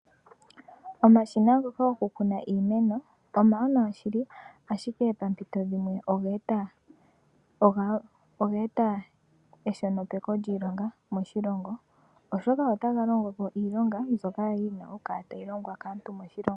Omashina ngoka goku kuna iimeno omawanawa shili ,ashike pompito dhimwe ogeeta eshonopeko lyiilonga moshilongo, oshoka otaga longopo iilonga mbyoka yali yina oku kala tayi longwa kaantu moshilongo.